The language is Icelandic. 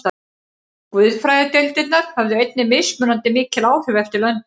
Guðfræðideildirnar höfðu einnig mismunandi mikil áhrif eftir löndum.